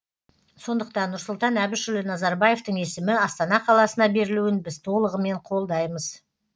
сондықтан нұрсұлтан әбішұлы назарбаевтың есімі астана қаласына берілуін біз толығымен қолдаймыз